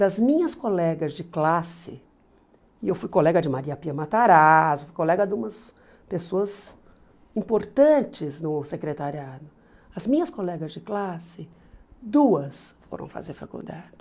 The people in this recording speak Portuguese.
Das minhas colegas de classe, e eu fui colega de Maria Pia Matarazzo, colega de umas pessoas importantes no secretariado, as minhas colegas de classe, duas foram fazer faculdade.